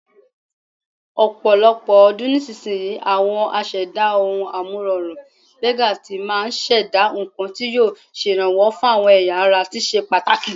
Ọ̀pọ̀lọpọ̀ ọdún sísinyìí, àwọn aṣẹ̀dá ohun-amúrọ̀rùn-bẹ́dàá tí máa ṣẹ̀dá nǹkan tí yóò ṣèrànwó fáwọn ẹ̀yà ara tó ṣe pàtàkì.